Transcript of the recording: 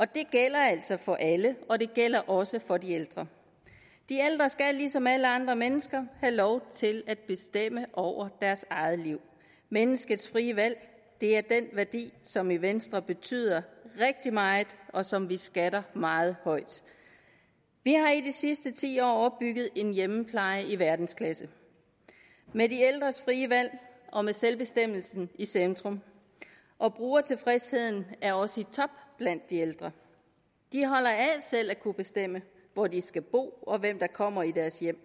det gælder altså for alle og det gælder også for de ældre de ældre skal ligesom alle andre mennesker have lov til at bestemme over deres eget liv menneskets frie valg er den værdi som i venstre betyder rigtig meget og som vi skatter meget højt vi har i de sidste ti år opbygget en hjemmepleje i verdensklasse med de ældres frie valg og med selvbestemmelsen i centrum og brugertilfredsheden er også i top blandt de ældre de holder af selv at kunne bestemme hvor de skal bo og hvem der kommer i deres hjem